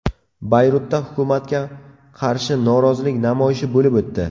Bayrutda hukumatga qarshi norozilik namoyishi bo‘lib o‘tdi.